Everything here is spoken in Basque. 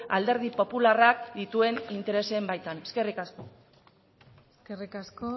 alderdi popularrak dituen interesen baitan eskerrik asko eskerrik asko